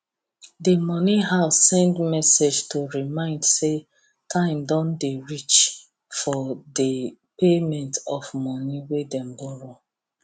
the money house send message to remind say time don dey reach for the payment of money wey dem borrow